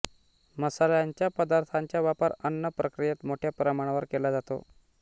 मसाल्यांच्या पदार्थांचा वापर अन्न प्रक्रियेत मोठ्या प्रमाणावर केला जातो